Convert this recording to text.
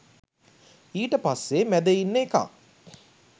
ඊට පස්සෙ මැද ඉන්න එකා